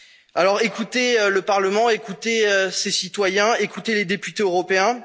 nos valeurs. Alors écoutez le Parlement, écoutez ces citoyens, écoutez les députés